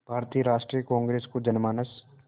भारतीय राष्ट्रीय कांग्रेस को जनमानस